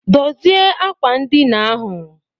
Dozie ákwà ndina ahụ